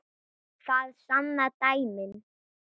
Það sanna dæmin.